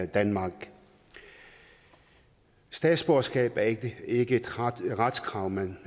danmark statsborgerskab er ikke ikke et retskrav man